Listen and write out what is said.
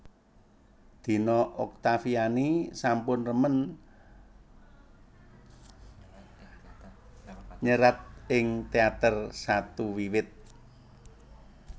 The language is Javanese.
Dina Oktaviani sampun remen nyerat ing teater satu wiwit